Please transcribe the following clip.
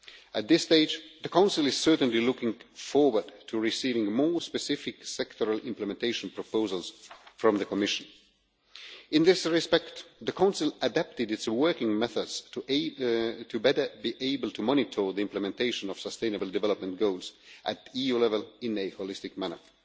At this stage, the Council is certainly looking forward to receiving more specific sectoral implementation proposals from the Commission. In this respect, the Council adapted its working methods to be better able to monitor the implementation of Sustainable Development Goals at EU level in a holistic manner.